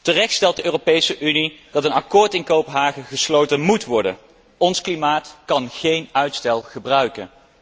Terecht stelt de Europese Unie dat een akkoord in Kopenhagen gesloten móet worden, ons klimaat kan geen uitstel gebruiken.